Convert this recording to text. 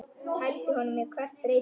Hældi honum á hvert reipi.